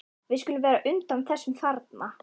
Við skulum vera á undan þessum þarna.